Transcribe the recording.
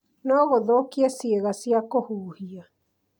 no gũthũkie ciiga cia kũhuhia